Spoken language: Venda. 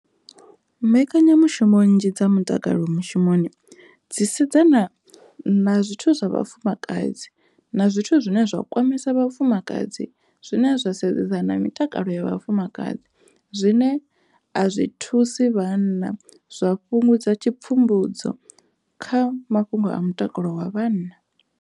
Mbekanyamushumo nnzhi dza mutakalo mushumoni dzi sedzana na zwithu zwa vhafumakadzi na zwithu zwine zwa kwamesa vhafumakadzi zwine zwa sedzana mitakalo ya vhafumakadzi zwine a zwi thusi vhanna zwa fhungudza tshi pfumbudzo kha mafhungo a mutakalo wa vhanna.